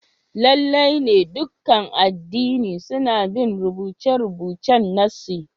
Lalle ne, dukan addini suna bin rubuce-rubucen nassi